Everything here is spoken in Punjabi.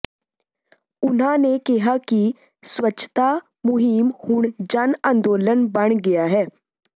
ਉਨ੍ਹਾਂ ਨੇ ਕਿਹਾ ਕਿ ਸਵੱਛਤਾ ਮੁਹਿੰਮ ਹੁਣ ਜਨ ਅੰਦੋਲਨ ਬਣ ਗਿਆ ਹੈ